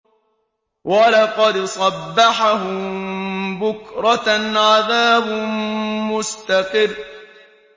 وَلَقَدْ صَبَّحَهُم بُكْرَةً عَذَابٌ مُّسْتَقِرٌّ